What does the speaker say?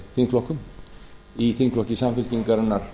þingflokkum í þingflokki samfylkingarinnar